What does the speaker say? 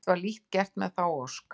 Samt var lítt gert með þá ósk.